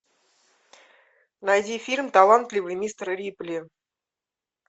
найди фильм талантливый мистер рипли